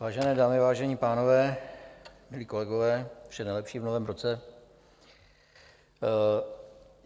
Vážené dámy, vážení pánové, milí kolegové, vše nejlepší v novém roce.